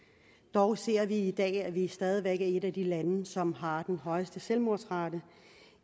dog ser vi i dag at vi stadig væk er et af de lande som har den højeste selvmordsrate